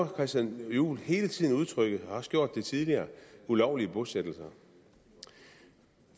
christian juhl hele tiden udtrykket har også gjort det tidligere ulovlige bosættelser